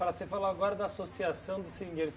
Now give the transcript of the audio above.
Você falou agora da associação dos seringueiros.